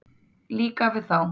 Líka við þá.